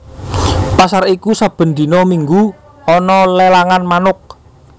Pasar iku saben dina minggu ana lelangan manuk